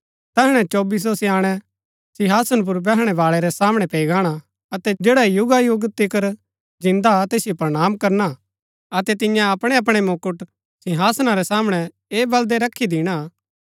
तैहणै चोबीसों स्याणै सिंहासन पुर बैहणै बाळै रै सामणै पैई गाणा अतै जैडा युगा युगा तिकर जिन्दा हा तैसिओ प्रणाम करना अतै तिन्या अपणै अपणै मुकुट सिंहासना रै सामणै ऐह बलदै रखी दिणा